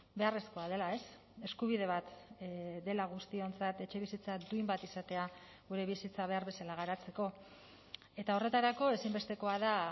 beharrezkoa dela eskubide bat dela guztiontzat etxebizitza duin bat izatea gure bizitza behar bezala garatzeko eta horretarako ezinbestekoa da